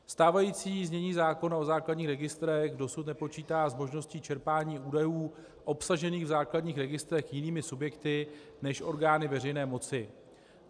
Stávající znění zákona o základních registrech dosud nepočítá s možností čerpání údajů obsažených v základních registrech jinými subjekty než orgány veřejné moci.